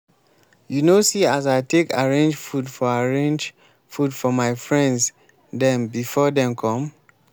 you no see as i take arange food for arange food for my friends dem before dem come?